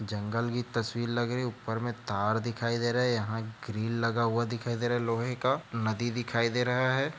जंगल की तस्वीर लग रही है ऊपर में तार दिखाई दे रहा है यहाँ ग्रिल लगा हुआ दिखाई दे रहा है लोहे का नदी दिखाई दे रहा है।